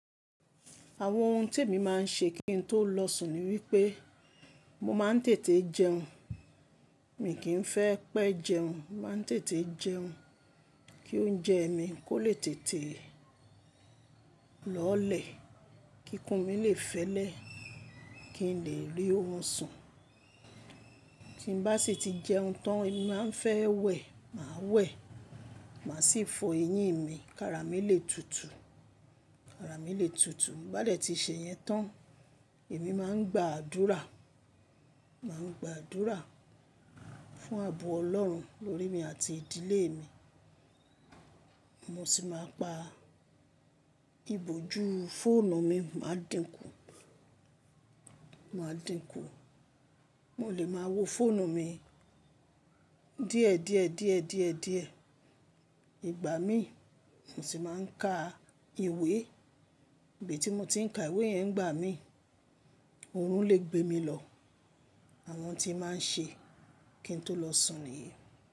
Àwọn ohun tí èmi máa ń ṣe kí n tó lọ sùn ni wípé mo máa ń tètè jẹun. Mi n kì í fẹ́ pẹ́ jẹun, màá ń tètè jẹun kí oúnjẹ mi kó lè tètè lọ́olẹ̀ kí ikùn mi lè fẹ́lẹ́ kí n lè rí orun sùn. Tí n bá sì ti jẹun tán, èmi máa ń fẹ́ wẹ̀, màá wẹ̀, màá sì fọ eyín mi kára mi lè tutù, kára mi lè tutù. Bàdẹ̀ tí ì ṣe yẹn tán, èmi máa ń gba àdúrà, máa ń gba àdúrà fún ààbò Ọlọ́run lórí mi àti ìdílé mi. Mo sì máa ń pa ìbòjú fóònù mi, màá dìnkù, màá dìnkù. Mo lè máa wo fóònù mi díẹ̀, díẹ̀, díẹ̀, díẹ̀, díẹ̀ ìgbà mi. Mo sì máa ń ka ìwé. Ibi tí mo ti ń ka ìwé yẹn ń gbà mí, òòrùn lè gbé mi lọ. Àwọn ohun tí màá ń ṣe kí n tó lọ sùn nìyí.